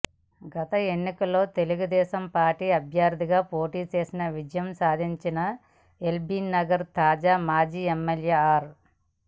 గత ఎన్నికల్లో తెలుగుదేశం పార్టీ అభ్యర్థిగా పోటీ చేసి విజయం సాధించిన ఎల్బీనగర్ తాజా మాజీ ఎమ్మెల్యే ఆర్